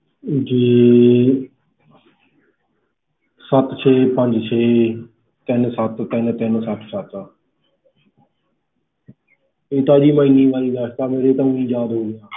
ਜੀ ਸੱਤ ਛੇ ਪੰਜ ਛੇ ਤਿੰਨ ਸੱਤ ਤਿੰਨ ਤਿੰਨ ਸੱਤ ਸੱਤ ਇਹ ਤਾਂ ਜੀ ਮੈਂ ਹਨੀ ਵਾਰੀ ਦਸਤਾ ਮੇਰੇ ਤਾਂ ਊ ਯਾਦ ਹੋ ਗਿਆ